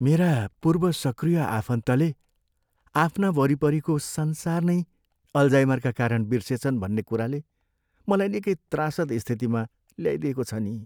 मेरा पूर्व सक्रिय आफन्तले आफ्ना वरिपरिको संसार नै अलजाइमरका कारण बिर्सेछन् भन्ने कुराले मलाई निकै त्रासद स्थितिमा ल्याइदिएको छ नि।